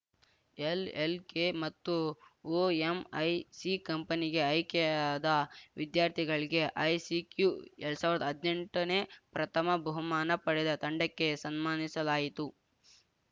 LLK ಮತ್ತು OMIC ಕಂಪನಿಗೆ ಆಯ್ಕೆಯಾದ ವಿದ್ಯಾರ್ಥಿಗಳಿಗೆ ಐಸಿಕ್ಯೂ ಎರಡ್ ಸಾವ್ರ್ದ ಹದ್ನೆಂಟನೇ ಪ್ರಥಮ ಬಹುಮಾನ ಪಡೆದ ತಂಡಕ್ಕೆ ಸನ್ಮಾನಿಸಲಾಯಿತು